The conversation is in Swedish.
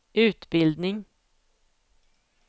utbildning